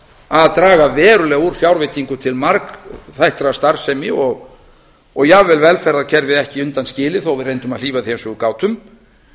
að draga verulega úr fjárveitingum til margþættrar starfsemi og jafnvel velferðarkerfið ekki undanskilið þó að við reyndum að hlífa því eins og við gátum